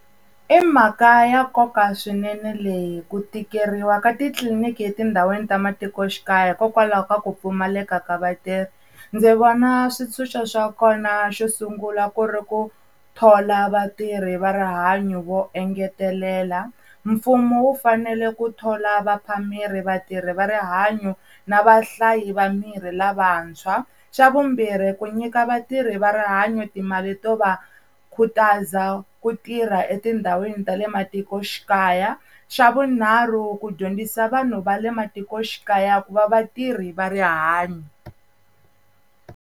I mhaka ya nkoka swinene leyi ku tikeriwa ka titliliniki etindhawini ta matikoxikaya hikokwalaho ka ku pfumaleka ka vatirhi, ndzi vona switshunxo swa kona, xo sungula ku ri ku thola vatirhi va rihanyo vo engetelela. Mfumo wu fanele ku thola vaphameri, vatirhi va rihanyo na vahlayi va mirhi lavantshwa. Xa vumbirhi ku nyika vatirhi va rihanyo timali to va khutaza ku tirha etindhawini ta le matikoxikaya. Xa vunharhu ku dyondzisa vanhu va le matikoxikaya ku va vatirhi va rihanyo.